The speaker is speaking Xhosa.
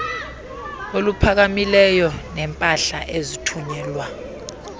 oluphakamileyo neempahla ezithunyelwa